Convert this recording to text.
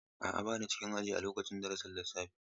A'a, ba na cikin aji a lokacin darasin lissafi.